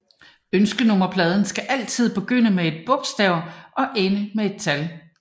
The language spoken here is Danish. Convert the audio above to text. Ønskenummerplader skal altid begynde med et bogstav og ende med et tal